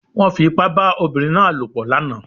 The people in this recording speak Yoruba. Wọ́n fi ipá bá obìnrin náà lòpọ̀ lánàá